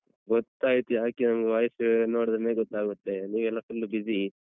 ಗೊತ್ತಾಯ್ತು ಯಾಕೆ ನಮ್ಗೆ voice ನೋಡಿದ್ರೇನೇ ಗೊತ್ತಾಗುತ್ತೆ ನೀವ್ ಎಲ್ಲ full busy .